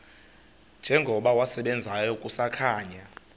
njengokuba wasebenzayo kusakhanya